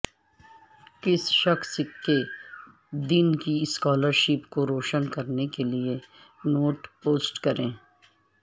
کسی شخص کے دن کی اسکالرشپ کو روشن کرنے کیلئے نوٹ پوسٹ کریں